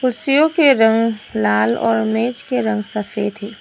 शेव के रंग लाल और मेज के रंग सफेद है।